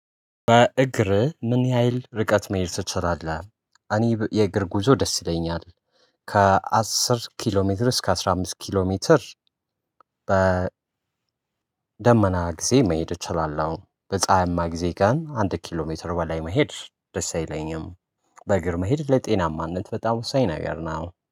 በእግር ምን? ያህል ርቀት መሄድ ትችላለህ እኔ የእግር ጉዞ ደስ ይለኛል ከአስር ኪሎ ሜትር እስከ አስራ አምስት ኪሎ ሜትር። ደመና ጊዜ መሄድ እችላለሁ። በፀሀይማ ጊዜ ግን አንድ ኪሎ ሜትር በላይ መሄድ ደስ አይለኝም። በእግር መሄድ ለጤናማነት በጣም ወሳኝነገር ነው